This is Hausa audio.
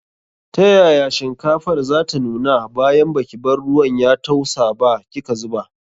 Ta yaya shinkafar zata nuna bayan baki bar ruwan ya tausa ba kika zuba.